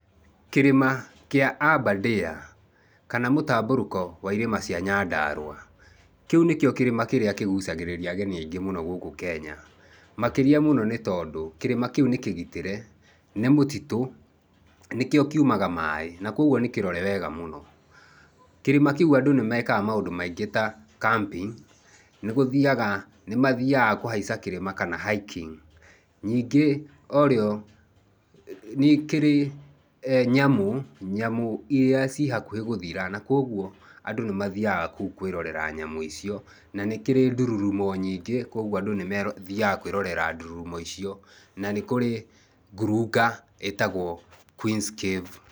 Kĩrĩma kĩa Aberdare, kana mũtambũrũko wa irĩma cia Nyandarua. Kĩu ni kĩo kĩrĩma kĩrĩa kĩgucagĩrĩria ageni aingĩ muno gũkũ Kenya. Makĩria mũno nĩ tondũ kĩrĩma kĩu nĩ kĩgitĩre nĩ mũtitũ, nĩkĩo kiumaga maĩ na kogũo nĩ kĩrore wega mũno. Kĩrĩma kĩu andũ nĩ mekaga maũndũ maingĩ ta [sc] camping [sc] nĩ guthiaga, nĩ mathiaga kũhaica kĩrĩma kana [sc] hiking [sc]. Ningĩ orĩo nĩkĩrĩ nyamũ, nyamũ iria cihakuhĩ gũthira na kogũo andũ nĩ mathiaga kũu kwĩrorera nyamũ icio na nĩkĩrĩ ndũrũrũmo nyingĩ kogũo andũ nĩmathiaga kwĩrorera ndũrũmo icio na nĩkũrĩ ngurunga itagũo Quens cave.